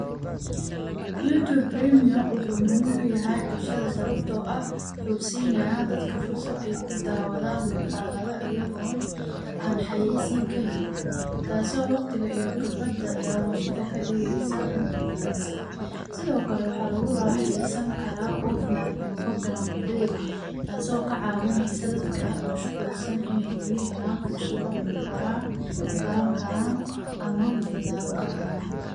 YouTube Premium wuxuu muhim u yahay bulshada sabtoo ah wuxu siinaa dadka fursad ay ku daawada muuqaalada iyagoon aan xayaysiin ka helin, taasoo waqtiga iyo khibrada daawashada ka dhigaysa mid wanaagsan. Sida oo kale waxaa lagu raaxeysan karaa offline iyo background play taasoo ka caawineysa dadka mashquulsan iney weli helaan fursad wax ku baraan ku baran karaan ama madadaalo ka helaan.